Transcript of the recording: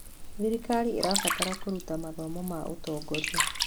Thirikari ĩrabatara kũruta mathomo ma ũtongoria.